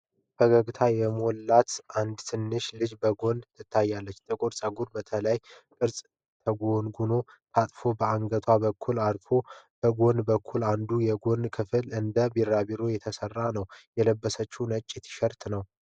ፈገግታ የሞላባት ትንሽ ልጅ በጎን ትታያለች። ጥቁር ፀጉሯ በተለያዩ ቅርጾች ተጎንጉኖና ታጥፎ በአንገቷ በኩል አርፎል። ከጎን በኩል አንዱ የጎንጉኖ ክፍል እንደ ቢራቢሮ የተሰራ ነው። የለበሰችው ነጭ ቲሸርት ነው።